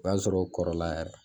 O b'a sɔrɔ u kɔrɔla yɛrɛ